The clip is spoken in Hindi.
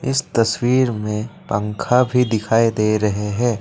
इस तस्वीर में पंखा भी दिखाई दे रहे हैं।